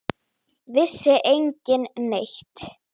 Vissi enginn neitt?